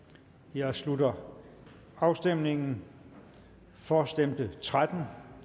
jeg slutter afstemningen for stemte tretten